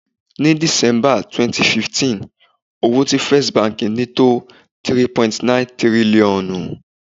Ni December 2015, owó tí First Bank ni tó 3.9 tírílọ́ọ̀nù.